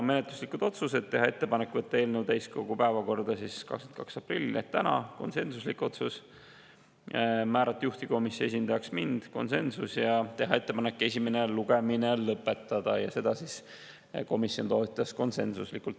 Menetluslikud otsused: teha ettepanek võtta eelnõu täiskogu päevakorda 22. aprillil ehk täna, see oli konsensuslik otsus, määrata juhtivkomisjoni esindajaks mind, siin oli konsensus, ja teha ettepanek esimene lugemine lõpetada, seda komisjon toetas konsensuslikult.